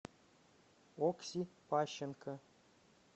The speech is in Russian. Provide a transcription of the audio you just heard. окси пащенко